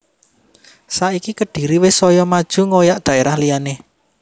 Saiki Kediri wis soyo maju ngoyak daerah liyane